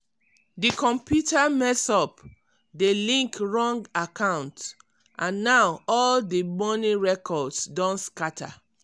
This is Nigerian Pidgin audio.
di computer mess up de link wrong account and now all di money records don scatter.